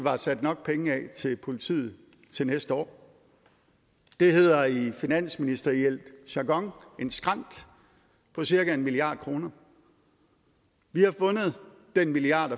er sat nok penge af til politiet til næste år det hedder i finansministeriel jargon en skrænt på cirka en milliard kroner vi har fundet den milliard